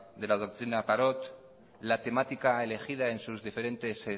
de la doctrina parot la temática elegida en sus diferentes